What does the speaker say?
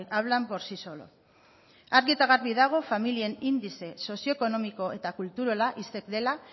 hablan por sí solos argi eta garbi dago familien indize sozio ekonomiko eta kulturala isek dela